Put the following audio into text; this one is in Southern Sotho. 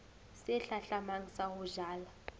se hlahlamang sa ho jala